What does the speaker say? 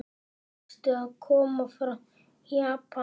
Varstu að koma frá Japan?